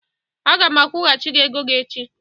Aga m akwọgachi gị ego gị echi.